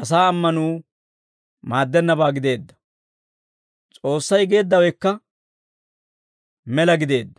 asaa ammanuu maaddennabaa gideedda; S'oossay geeddawekka mela gideedda;